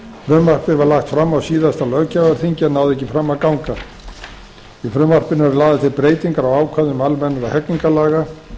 frumvarpið var lagt fram á síðasta löggjafarþingi en náði ekki fram að ganga í frumvarpinu eru lagðar til breytingar á ákvæðum almennra hegningarlaga